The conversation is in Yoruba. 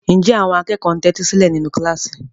Ǹjẹ́ àwọn akẹ́kọ̀ọ́ ń tẹ́tí sílẹ̀ nínú kíláàsì?